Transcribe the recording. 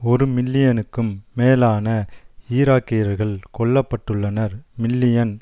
ஒரு மில்லியனுக்கும் மேலான ஈராக்கியர்கள் கொல்ல பட்டுள்ளனர் மில்லியன்